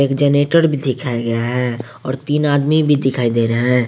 Generator भी दिखाया गया है और तीन आदमी भी दिखाई दे रहे हैं।